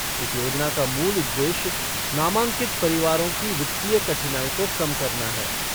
इस योजना का मूल उद्देश्य नामांकित परिवारों की वित्तीय कठिनाई को कम करना है।